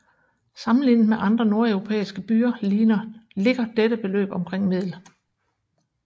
Sammenlignet med andre nordeuropæiske byer ligger dette beløb omkring middel